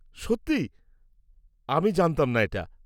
-সত্যি? আমি জানতাম না এটা।